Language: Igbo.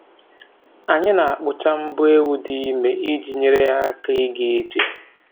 Anyị na-akpụcha mbọ ewu dị ime iji nyere ya aka ịga ije